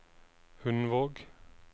Hundvåg